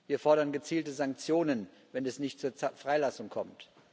Wir fordern gezielte Sanktionen, wenn es nicht zur Freilassung kommt.